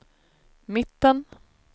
mitten